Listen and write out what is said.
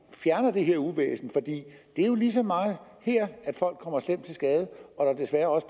fjerner det her uvæsen for det er jo lige så meget her at folk kommer slemt til skade og desværre